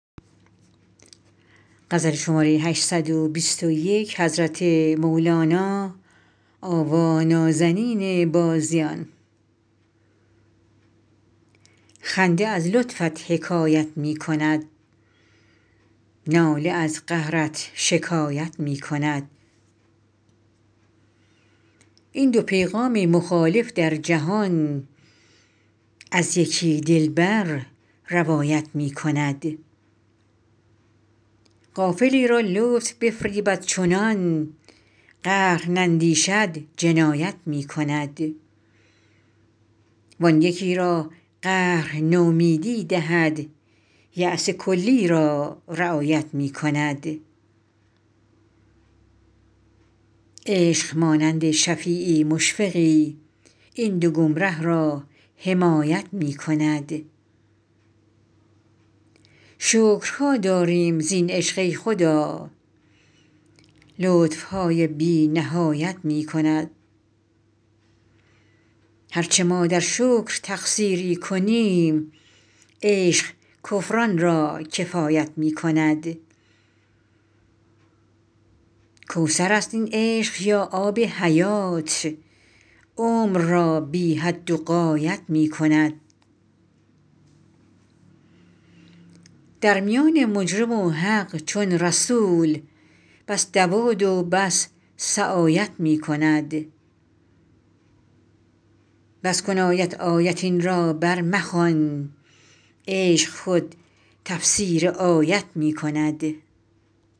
خنده از لطفت حکایت می کند ناله از قهرت شکایت می کند این دو پیغام مخالف در جهان از یکی دلبر روایت می کند غافلی را لطف بفریبد چنان قهر نندیشد جنایت می کند وان یکی را قهر نومیدی دهد یأس کلی را رعایت می کند عشق مانند شفیعی مشفقی این دو گمره را حمایت می کند شکرها داریم زین عشق ای خدا لطف های بی نهایت می کند هر چه ما در شکر تقصیری کنیم عشق کفران را کفایت می کند کوثر است این عشق یا آب حیات عمر را بی حد و غایت می کند در میان مجرم و حق چون رسول بس دوادو بس سعایت می کند بس کن آیت آیت این را برمخوان عشق خود تفسیر آیت می کند